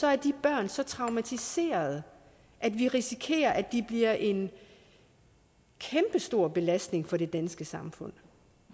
er de børn så traumatiserede at vi risikerer at de bliver en kæmpestor belastning for det danske samfund